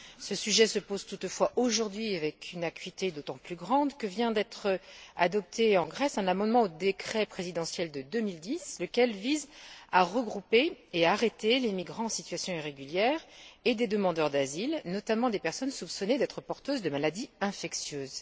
Ce sujet se pose toutefois aujourd'hui avec une acuité d'autant plus grande que vient d'être adopté en Grèce un amendement au décret présidentiel de 2010, lequel vise à regrouper et à arrêter les migrants en situation irrégulière et des demandeurs d'asile, notamment des personnes soupçonnées d'être porteuses de maladies infectieuses.